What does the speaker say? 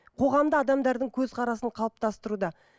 қоғамда адамдардың көзқарасын қалыптастыруда